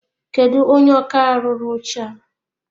Kedụ onye ọkà rụrụ oche a?